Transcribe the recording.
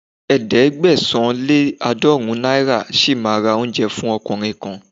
Ẹ̀ẹ́dẹ́gbẹ̀sán- lé-àádọ́ọ̀rún náírà ṣì máa ra oúnjẹ fún ọkùnrin kan.